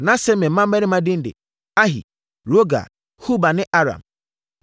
Na Semer mmammarima din de: Ahi, Rohga, Hubah ne Aram.